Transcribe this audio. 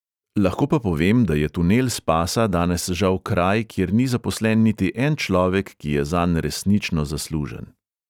Lahko pa povem, da je tunel spasa danes žal kraj, kjer ni zaposlen niti en človek, ki je zanj resnično zaslužen.